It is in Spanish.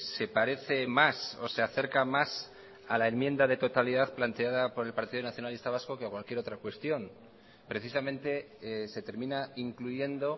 se parece más o se acerca más a la enmienda de totalidad planteada por el partido nacionalista vasco que a cualquier otra cuestión precisamente se termina incluyendo